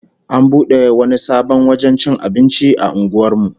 An bude wani sabon wajen cin abinci a unguwar mu